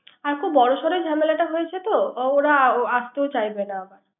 আচ্ছা বর সর জামেলাটা হয়েছে। তাই ওরা আসতেও চাইবে না